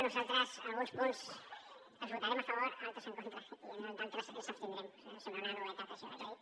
nosaltres alguns punts els votarem a favor altres en contra i en d’altres ens hi abstindrem sembla una novetat eh això que he dit